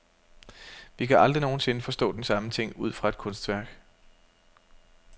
Vi kan aldrig nogen sinde forstå den samme ting ud fra et kunstværk.